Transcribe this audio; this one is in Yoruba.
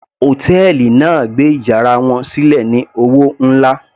Hòtẹ́ẹ̀lì náà gbé yàrá wọn sílẹ̀ ní owó nlá.